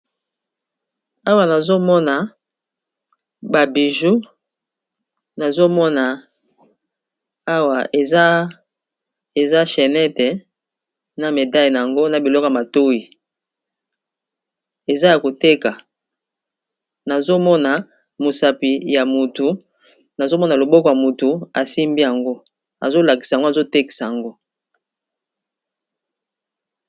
awa nazomona babiju nazomona aa eza chenete na medalle yango na biloko matui a mosapi ya motu nazomona loboko ya motu asimbi yango azolakisa yango azotekisa yango